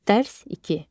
Dərs 2.